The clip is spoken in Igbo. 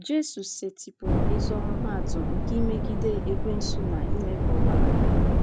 Jesu setịpụrụ ezi ọmụmaatụ nke imegide Ekwensu na ime ka ọ gbalaga.